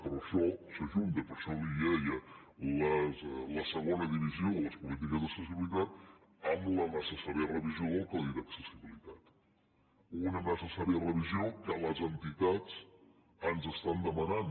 però això s’ajunta per això li deia la segona divisió de les polítiques d’accessibilitat amb la necessària revisió del codi d’accessibilitat una necessària revisió que les entitats ens estan demanant